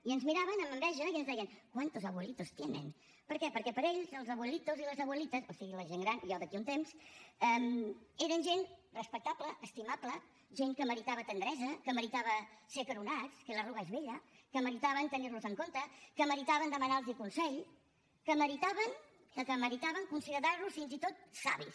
i ens miraven amb enveja i ens deien cuántos abuelitos tienen per què perquè per ells els abue litoslitas o sigui la gent gran jo d’aquí a un temps eren gent respectable estimable gent que meritava tendresa que meritava ser acaronats que la arruga es bella que meritaven tenir los en compte que meritaven demanar los consell que meritaven que meritaven considerar los fins i tot savis